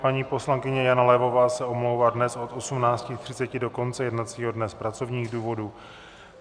Paní poslankyně Jana Levová se omlouvá dnes od 18.30 do konce jednacího dne z pracovních důvodů.